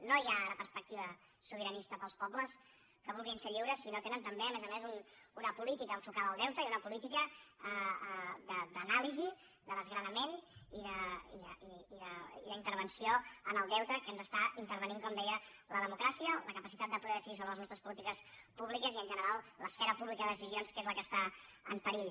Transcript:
no hi ha ara perspectiva sobiranista per als pobles que vulguin ser lliures si no tenen també a més a més una política enfocada al deute i una política d’anàlisi de desgranament i d’intervenció en el deute que ens intervé com deia la democràcia la capacitat de poder decidir sobre les nostres polítiques públiques i en general l’esfera pública de decisions que és la que està en perill